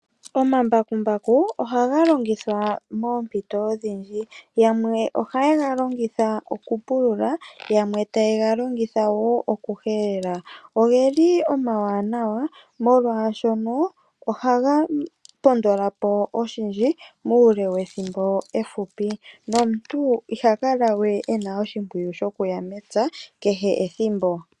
Omambakumbaku ohaga longithwa moompito odhindji. Yamwe ohaye ga longitha okupulula, yamwe taye ga longitha wo okuhelela. Omawanawa, molwashoka ohaga pondola po oshindji muule wethimbo efupi nomuntu iha kala we e na oshimpwiyu shokuya mepya ethimbo kehe.